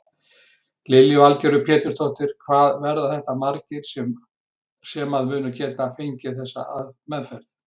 Lillý Valgerður Pétursdóttir: Hvað verða þetta margir sem að munu geta fengið þessa meðferð?